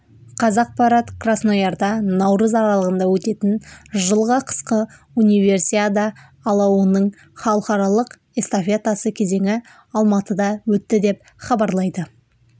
қазақпарат красноярда наурыз аралығында өтетін жылғы қысқы универсиада алауының халықаралық эстафетасы кезеңі алматыда өтті деп хабарлайды